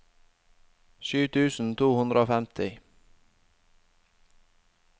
sju tusen to hundre og femti